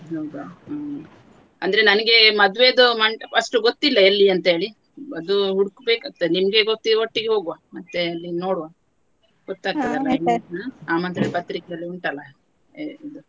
ಹೌದಾ ಹ್ಮ್‌ ಅಂದ್ರೆ ಮದುವೆ ಮಂಟಪ ಅಷ್ಟೊಂದು ಗೊತ್ತಿಲ್ಲ ಎಲ್ಲಿ ಅಂತ ಹೇಳಿ ಅದು ಹುಡುಕಬೇಕಾಗುತ್ತದೆ ನಿಮ್ಗೆ ಗೊತ್ತಿರುವವರ ಒಟ್ಟಿಗೆ ಹೋಗುವ ಮತ್ತೆ ನೋಡುವ ಗೊತ್ತಾಗ್ತದಲ್ಲ ಆಮಂತ್ರಣ ಪತ್ರಿಕೆಯಲ್ಲಿ ಉಂಟಲ್ಲ.